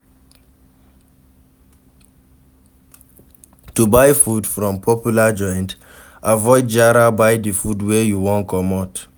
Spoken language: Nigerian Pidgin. To buy from popular joint avoid jara buy di food wey you want commot